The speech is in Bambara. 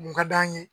Kun ka d'an ye